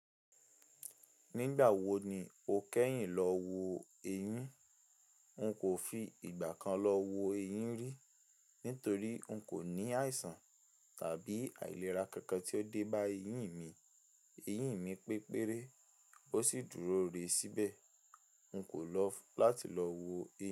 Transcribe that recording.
Nígbà wo ni o kẹ́yìn lọ wo eyín? N kò fi ìgbà kan lọ wo eyín rí, nítorí n kò ní àìsàn tàbí àìlera kankan tí o dé bá eyín mi. Eyín mi pépéré ó sì dúró re síbẹ̀. N kò lọ́ láti lọ wo eyín.